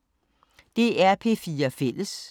DR P4 Fælles